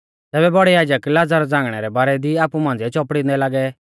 तैबै बौड़ै याजक लाज़र झ़ांगणै रै बारै दी आपु मांझ़िऐ चौपड़िंदै लागै